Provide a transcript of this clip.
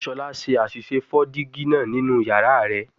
Shola ṣe aṣiṣe fọ digi naa ninu yara rẹ